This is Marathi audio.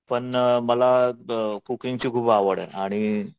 पण मला कोकिंगची खूप आवड आहे आणि